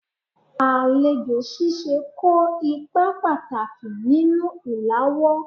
Alejo sise ko ipa pataki ninu ilawo